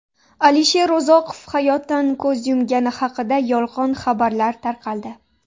Alisher Uzoqov hayotdan ko‘z yumgani haqida yolg‘on xabarlar tarqaldi.